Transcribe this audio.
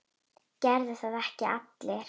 Gera það ekki allir?